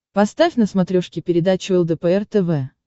поставь на смотрешке передачу лдпр тв